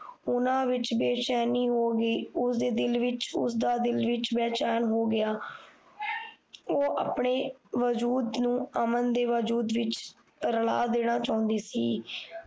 ਉਹਨਾਂ ਵਿੱਚ ਬੇਚੈਨੀ ਹੋਗੀ ਉਸ ਦੇ ਦਿਲ ਵਿੱਚ ਉਸ ਦਾ ਦਿਲ ਵਿੱਚ ਬੇਚੈਨ ਹੋਗਿਆ ਉਹ ਆਪਣੇ ਵਾਜੂਦ ਨੂੰ ਅਮਨ ਦੇ ਵਜੂਦ ਵਿੱਚ ਰਲਾ ਦੇਣਾ ਚਾਹੁੰਦੀ ਸੀ